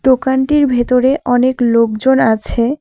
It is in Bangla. দোকানটির ভেতরে অনেক লোকজন আছে।